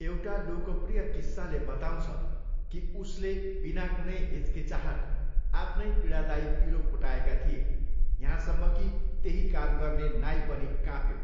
एउटा लोकप्रिय किस्साले बताउँछ कि उसले बिना कुनै हिचकिचाहट आफ्नै पीडादायी पिलो फु़टाएका थिए, यहाँसम्म कि त्यही काम गर्ने नाई पनि काँप्यो।